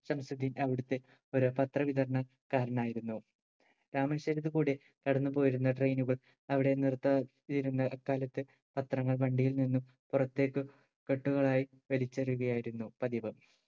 ഷംസുദ്ധീൻ അവിടുത്തെ ഒരു പത്ര വിതരണക്കാരനായിരുന്നു രാമേശ്വരത്തു കൂടി കടന്നുപോയിരുന്ന train കൾ അവിടെ നിർത്താതെ തിരുന്ന കാലത്ത് പത്രങ്ങൾ വണ്ടിയിൽ നിന്നും പുറത്തേക്ക് കെട്ടുകളായി വലിച്ചെറിയുകയായിരുന്നു പതിവ്